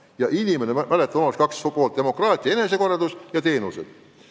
Ja mäletate, omavalitsusel on kaks eesmärki: tagada demokraatia ja enesekorraldus, teenused.